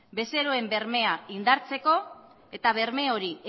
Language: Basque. bezeroen bermea indartzeko eta berme hori